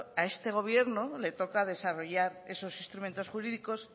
a este gobierno le toca desarrollar esos instrumentos jurídicos